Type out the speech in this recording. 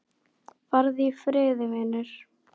Farðu í friði, vinur.